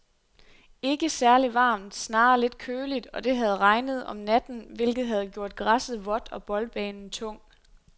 Ikke særligt varmt, snarere lidt køligt, og det havde regnet om natten, hvilket havde gjort græsset vådt og boldbanen tung.